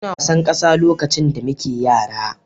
Muna wasan ƙasa lokacin da muke yara.